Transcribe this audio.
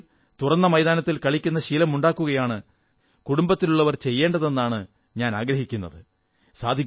കുട്ടികൾ തുറന്ന മൈതാനത്തിൽ കളിക്കുന്ന ശീലമുണ്ടാക്കുകയാണ് കുടുംബത്തിലുള്ളവർ ചെയ്യേണ്ടതെന്ന് ഞാൻ ആഗ്രഹിക്കുന്നു